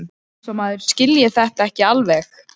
Eins og maður skilji þetta ekki alveg!